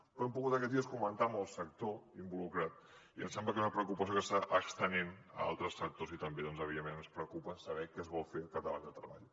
però hem pogut aquests dies comentar·ho amb el sector involucrat i em sembla que és una preocupació que s’ha anat estenent a altres sectors i també doncs evi·dentment ens preocupa saber què es vol fer al capdavant de treball